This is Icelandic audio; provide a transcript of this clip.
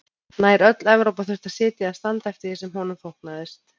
Nær öll Evrópa þurfti að sitja eða standa eftir því sem honum þóknaðist.